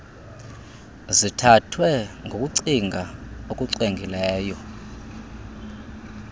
zithathwe ngokucinga okucwengileyo